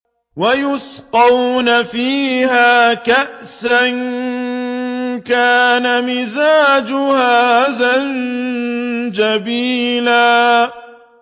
وَيُسْقَوْنَ فِيهَا كَأْسًا كَانَ مِزَاجُهَا زَنجَبِيلًا